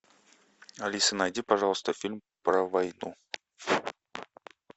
алиса найди пожалуйста фильм про войну